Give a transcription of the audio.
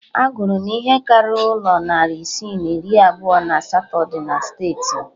A gụrụ na ihe karịrị ụlọ narị isii na iri abụọ na asatọ dị na steeti m